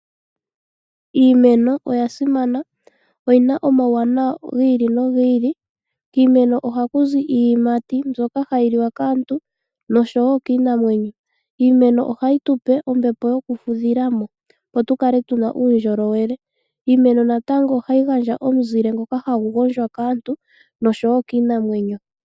Iimeno oya simana. Oyi na omawuwanawa hi ili nogi ili. Kiimeno ohalu zi iiyimati mbuola hayinliwa kaantu noshowo kiinamwenyo. Iimeno ohayi type ombepo yoku fudhila mo opo tu kale tu na uundjolowele. Iimeno natango ohayi gandja omunzile ngoka hagu gondjwa kaantu noshowo kiinamwenyo.